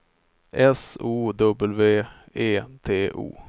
S O W E T O